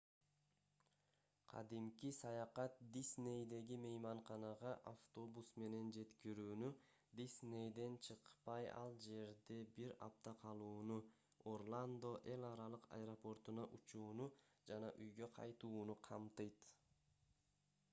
кадимки саякат диснейдеги мейманканага автобус менен жеткирүүнү диснейден чыкпай ал жерде бир апта калууну орландо эл аралык аэропортуна учууну жана үйгө кайтууну камтыйт